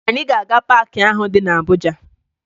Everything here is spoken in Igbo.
Anyị ga-aga paakị ahụ dị na Abuja